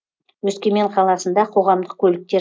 өскемен қаласында қоғамдық көліктер